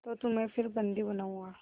तो तुम्हें फिर बंदी बनाऊँगा